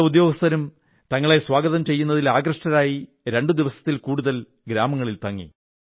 പല ഉദ്യോഗസ്ഥരും തങ്ങളെ സ്വാഗതം ചെയ്യുന്നതിൽ ആകൃഷ്ടരായി രണ്ടു ദിവസത്തിൽ കൂടുതൽ ഗ്രാമങ്ങളിൽ തങ്ങി